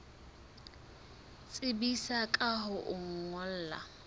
tsebisa ka ho o ngolla